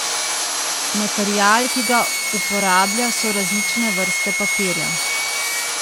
Material, ki ga uporablja, so različne vrste papirja.